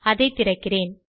அதை திறக்கிறேன்